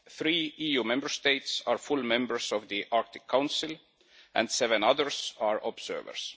Three EU Member States are full members of the Arctic Council and seven others are observers.